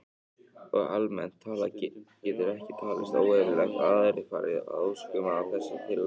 Og almennt talað getur ekki talist óeðlilegt að aðrir fari að óskum af þessu tagi.